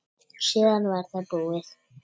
Síðan var það búið.